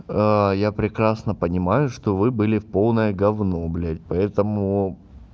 я прекрасно понимаю что вы были в полное говно блядь поэтому